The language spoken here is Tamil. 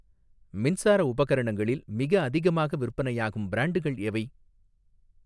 மின்சார உபகரணங்களில் மிக அதிகமாக விற்பனையாகும் பிரான்ட்கள் எவை?